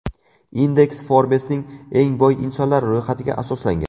Indeks Forbes’ning eng boy insonlar ro‘yxatiga asoslangan.